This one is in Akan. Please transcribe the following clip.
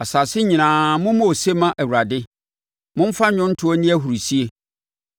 Asase nyinaa mommɔ ose mma Awurade, momfa nnwontoɔ nni ahurisie;